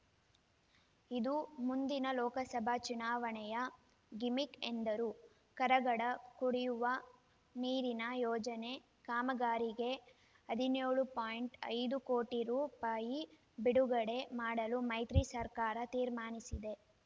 ಇದು ಮುಂದಿನ ಲೋಕಸಭಾ ಚುನಾವಣೆಯ ಗಿಮಿಕ್‌ ಎಂದರು ಕರಗಡ ಕುಡಿವ ನೀರಿನ ಯೋಜನೆ ಕಾಮಗಾರಿಗೆ ಹದಿನ್ಯೋಳು ಪಾಯಿಂಟ್ ಐದು ಕೋಟಿ ರು ರೂಪಾಯಿ ಬಿಡುಗಡೆ ಮಾಡಲು ಮೈತ್ರಿ ಸರ್ಕಾರ ತೀರ್ಮಾನಿಸಿದೆ